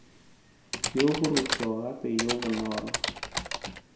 yo borutho gape yo bonolo